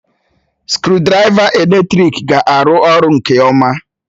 Skrụdiraiva eletrik ga-arụ ọrụ nke ọma